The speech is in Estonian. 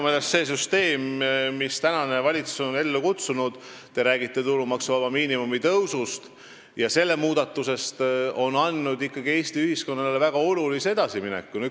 Minu meelest see süsteem, mille praegune valitsus on ellu kutsunud, kui te räägite tulumaksuvaba miinimumi tõusust ja selle muudatusest, on andnud Eesti ühiskonnale väga olulise edasimineku.